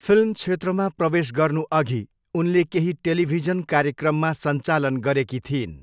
Film क्षेत्रमा प्रवेश गर्नुअघि उनले केही टेलिभिजन कार्यक्रममा सञ्चालन गरेकी थिइन्।